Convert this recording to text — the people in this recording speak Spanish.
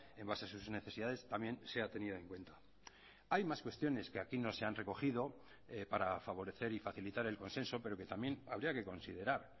en base a sus necesidades también sea tenida en cuenta hay más cuestiones que aquí no se han recogido para favorecer y facilitar el consenso pero que también habría que considerar